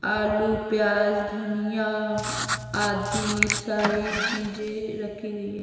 आलू प्याज धनिया आदि सारी चीजें रखी गई है --